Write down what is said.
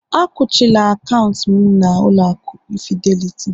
Akuchila akaụntụ'm na ụlọ aku Fidelity